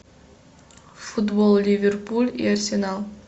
футбол ливерпуль и арсенал